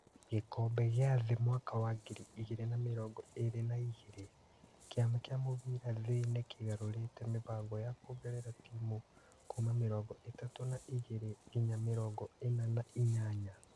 Gĩkombe gĩa thĩ mwaka wa ngiri igĩrĩ na mĩrongo ĩrĩ na igĩrĩ: Kĩama kĩa mũbira thĩ nĩ kĩgarũrĩte mũbango wa kuongerera timu kuuma mĩrongo-itatũ na igĩrĩ nginya mĩrongo-ĩna na inyanya.